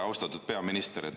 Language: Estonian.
Austatud peaminister!